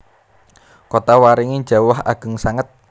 Kotawaringin jawah ageng sanget